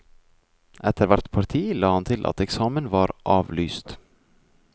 Etter hvert parti la han til at eksamen var avlyst.